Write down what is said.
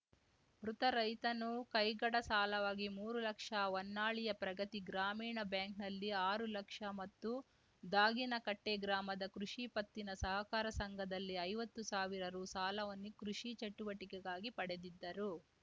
ಮೃತ ರೈತನು ಕೈಗಡ ಸಾಲವಾಗಿ ಮೂರು ಲಕ್ಷ ಹೊನ್ನಾಳಿಯ ಪ್ರಗತಿ ಗ್ರಾಮೀಣ ಬ್ಯಾಂಕ್‌ನಲ್ಲಿ ಆರುಲಕ್ಷ ಮತ್ತು ದಾಗಿನಕಟ್ಟೆಗ್ರಾಮದ ಕೃಷಿ ಪತ್ತಿನ ಸಹಕಾರ ಸಂಘದಲ್ಲಿ ಐವತ್ತು ಸಾವಿರ ರು ಸಾಲವನ್ನು ಕೃಷಿ ಚಟುವಟಿಕೆಗಾಗಿ ಪಡೆದಿದ್ದರು